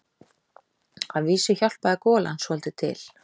Að vísu hjálpaði golan svolítið til.